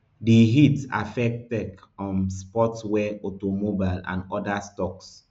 di hit affect tech um sportswear auto mobile and oda stocks